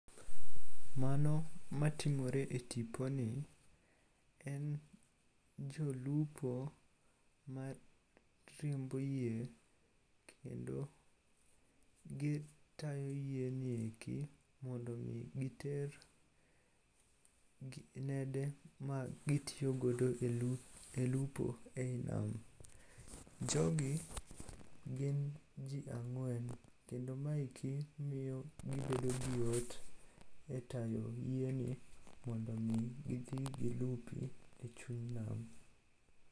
Mano matimore e tiponi, en jolupo mariembo yie kendo gitayo yieni eki mondo omi giter nede magitiyogodo e lupo e i nam. Jogi gin ji ang'wen kendo maeki miyo gibedo gi yot e tayo yieni mondo omi gidhi gilupi e chuny nam.